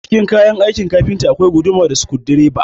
Cikin kayan aikin kafinta akwai guduma da sukudireba